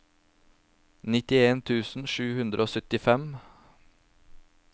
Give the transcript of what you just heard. nittien tusen sju hundre og syttifem